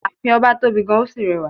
Ààfin ọba tóbi gan-an ó sì rẹwà.